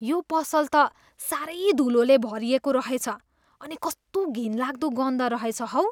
यो पसल त साह्रै धुलोले भरिएको रहेछ अनि कस्तो घिनलाग्दो गन्ध रहेछ हौ।